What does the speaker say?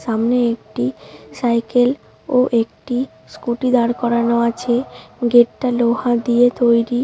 সামনে একটি সাইকেল ও একটি স্কুলটি দাঁড় করানো আছে গেট -টা লোহা দিয়ে তৌরি ।